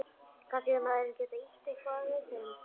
Kannski hefur maðurinn getað ýtt eitthvað við þeim.